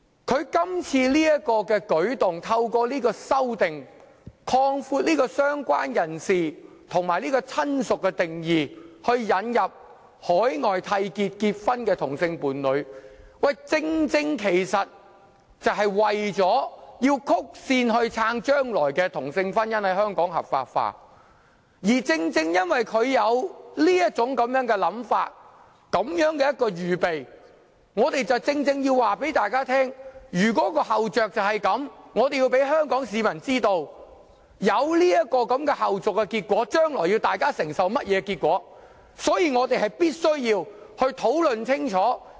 他今次的舉措旨在透過相關修正案擴闊"相關人士"和"親屬"的定義，以引入在海外締結婚姻的同性伴侶，其實正正為了曲線支持同性婚姻日後在香港合法化，而正正因為他這種想法和這種準備工夫，我們確實要告訴大家他有此後着，亦要告知香港市民將會出現這種後續的結果，以及大家將來要承受的結果，所以我們必須討論清楚。